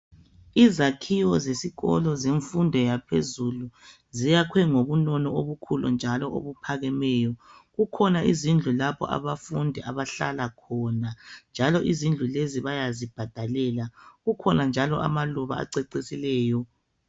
Izakhiwe zesikolo zemfundo yaphezulu ,ziyakhiwe ngobunono obukhulu njalo obuphakemeyo. Kukhona izindlu lapho abafundi abahlala khona, njalo izindlu lezi bayazibhadalela. Kukhona njalo amaluba acecisileyo.